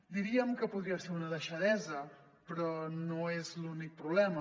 diríem que podria ser una deixadesa però no és l’únic problema